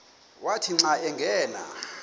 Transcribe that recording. wathi xa angena